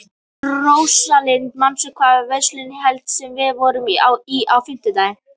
Rósalind, manstu hvað verslunin hét sem við fórum í á fimmtudaginn?